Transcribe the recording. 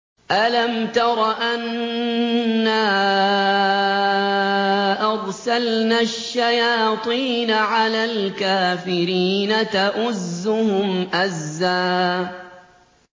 أَلَمْ تَرَ أَنَّا أَرْسَلْنَا الشَّيَاطِينَ عَلَى الْكَافِرِينَ تَؤُزُّهُمْ أَزًّا